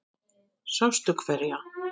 Sástu hverja?